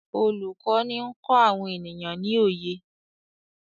olùkó ní nkọ àwọn ènìyàn ní oyé